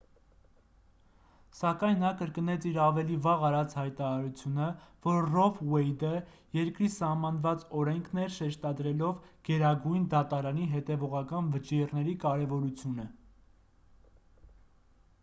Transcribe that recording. սակայն նա կրկնեց իր ավելի վաղ արած հայտարարությունը որ ռո վ ուեյդը երկրի սահմանված օրենքն էր շեշտադրելով գերագույն դատարանի հետևողական վճիռների կարևորությունը